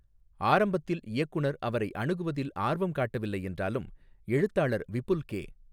ஆரம்பத்தில் இயக்குனர் அவரை அணுகுவதில் ஆர்வம் காட்டவில்லை என்றாலும், எழுத்தாளர் விபுல் கே.